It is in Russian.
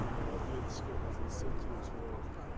ну от ответочки разнесёт тебя чувак